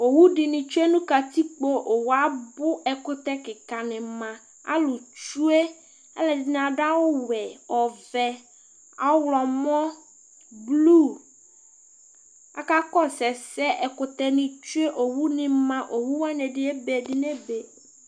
owu dini tsue no katikpo owue abò ɛkutɛ keka ni ma alò tsue aloɛdini ado awu wɛ ɔvɛ ɔwlɔmɔ blu aka kɔsu ɛsɛ ɛkutɛ ni tsue owu ni ma owu wani ɛdi ebe ɛdi nebe